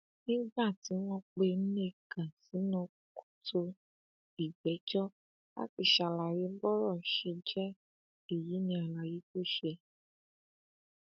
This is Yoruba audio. nígbà tí wọn pe nneka sínú kòtò ìgbẹjọ láti ṣàlàyé bọrọ ṣe jẹ èyí ní àlàyé tó ṣe